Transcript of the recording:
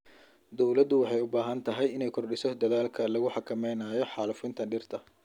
Dawladdu waxay u baahan tahay inay kordhiso dadaalka lagu xakameynayo xaalufinta dhirta.